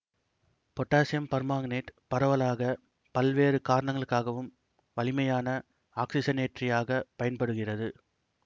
potassium permanganate பரவலாக பல்வேறு காரணங்களுக்காகவும் வலிமையான ஆக்சிசனேற்றியாகப் பயன்படுகிறது